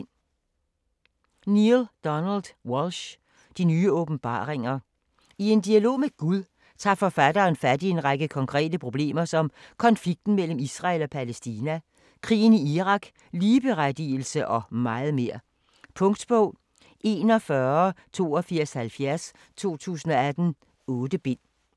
Walsch, Neale Donald: De nye åbenbaringer I en dialog med Gud tager forfatteren fat i en række konkrete problemer som konflikten mellem Israel og Palæstina, krigen i Irak, ligeberettigelse og meget mere. Punktbog 418270 2018. 8 bind.